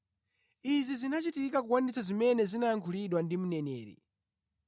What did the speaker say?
Izi zinachitika kukwaniritsa zimene zinayankhulidwa ndi mneneri: